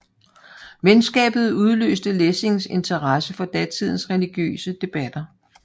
Venskabet udløste Lessings interesse for datidens religiøse debatter